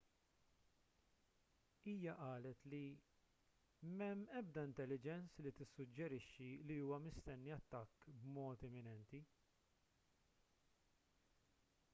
hija qalet li m'hemm ebda intelligence li tissuġġerixxi li huwa mistenni attakk b'mod imminenti